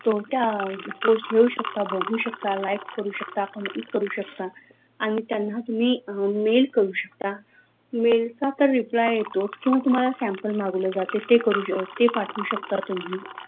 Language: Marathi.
तो त्या post बघू शकता like करू शकता complete करू शकता त्यांना तुम्ही mail करू शकता mail चा तर reply येतो किव्हा तुम्हाला sample मागवले जाते ते करू शकतो ते पाठवू शकता तुम्ही